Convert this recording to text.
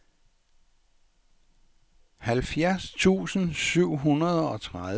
halvfjerds tusind syv hundrede og tredive